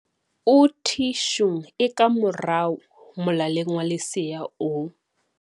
o thi shung e ka morao molaleng wa lesea o